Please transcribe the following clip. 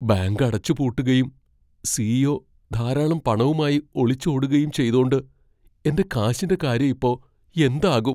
Bank അടച്ചുപൂട്ടുകയും CEO. ധാരാളം പണവുമായി ഒളിച്ചോടുകയും ചെയ്തോണ്ട് എന്റെ കാശിന്റെ കാര്യം ഇപ്പോ എന്താകും ?